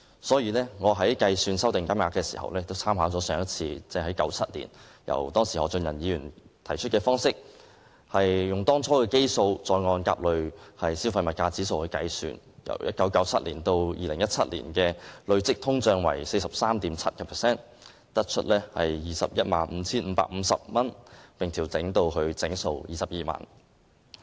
所以我在計算修訂金額時，也參考上一次，即1997年由當時何俊仁議員提出的方式，用當初的基數，再按甲類消費物價指數來計算，由1997年至2017年的累積通脹為 43.7%， 得出 215,550 元，並調整至整數22萬元。